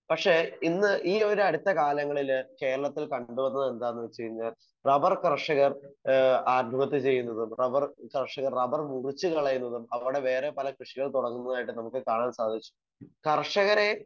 Speaker 1 പക്ഷെ ഇന്ന് ഈ ഒരു അടുത്ത കാലങ്ങളില് കേരളത്തിൽ കണ്ടു വന്നത് എന്താന്ന് വെച്ച് കഴിഞ്ഞാൽ റബർ കർഷകർ ആഹ് ആത്മഹത്യ ചെയ്യുന്നതും റബർ കർഷകർ റബർ മുറിച്ചു കളയുന്നതും അവിടെ വേറെ പല കൃഷികൾ തുടങ്ങുന്നതായിട്ടും നമുക്ക് കാണാൻ സാധിച്ചു. കർഷകരെ